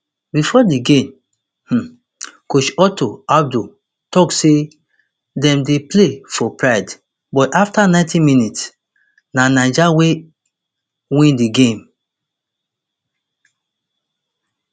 bifor di game um coach otto addo tok say dem dey play for pride but afta ninety minutes na niger wey win di game